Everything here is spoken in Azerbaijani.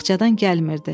Baxçadan gəlmirdi.